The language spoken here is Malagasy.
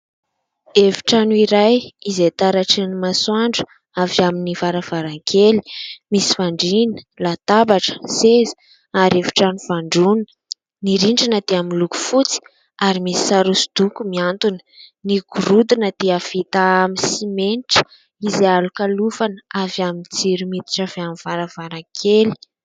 Efitrano iray izay taratry ny masoandra avy amin'ny varavarankely, misy fandrina, latabatra, seza ary efitrano fandrona. Ny rindrina dia miloko fotsy ary misy sary hosodoko miantona. Ny gorodona dia vita amin'ny simenitra izay alokalofana avy amin'ny jiro miditra avy amin'ny varavarankely.